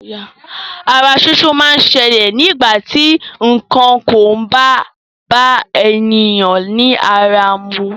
Ara súsú máa ń ṣẹlè nígbà ti nǹkan kò bá bá èèyàn ní ara mu.